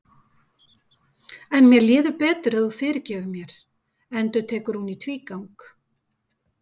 En mér líður betur ef þú fyrirgefur mér, endurtekur hún í tvígang.